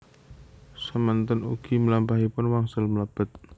Semanten ugi mlampahipun wangsul mlebet